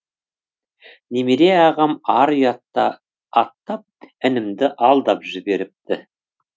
немере ағам ар ұятты аттап інімді алдап жіберіпті